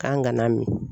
K'an kana min